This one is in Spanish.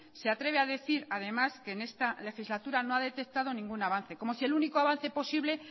se atreve a decir además que en esta legislatura no ha detectado ningún avance como si el único avance posible